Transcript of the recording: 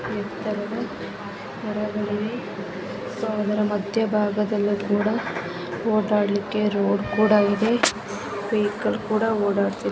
ಎತ್ತರವಾಗಿದೆ ಮಧ್ಯಭಾಗದಲ್ಲಿ ಕೂಡ ಓಡಲಿಕ್ಕೆ ರೋಡ್ ಕೂಡ ಇದೆ ವೆಹಿಕಲ್ಸ್ ಕೂಡ ಓಡಾಡ್ತಾ ಇದೆ--